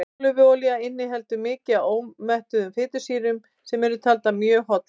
ólífuolía inniheldur mikið af einómettuðum fitusýrum sem eru taldar mjög hollar